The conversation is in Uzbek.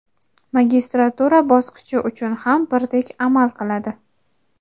magistratura bosqichi uchun ham birdek amal qiladi.